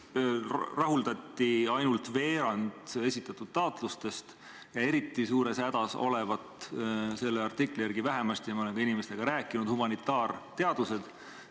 Rahuldati ainult veerand esitatud taotlustest ja eriti suures hädas on – selle artikli järgi vähemasti, aga ma olen ka inimestega rääkinud – humanitaarteadused.